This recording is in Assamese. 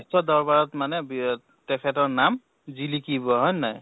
বিশ্ব দৰবাৰত মানে বিয় তেখেতৰ নাম জিলিকিব, হয় নে নহয়?